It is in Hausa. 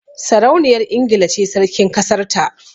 Sarauniyar Ingila ce Sarkin kasar ta